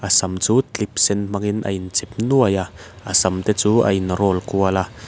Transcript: a sam chu clip sen hmangin a in chep nuai a a sam te chu a in roll kual a.